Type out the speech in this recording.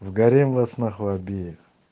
в гарем вас на хуй обеих